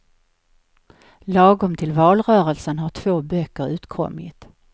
Lagom till valrörelsen har två böcker utkommit.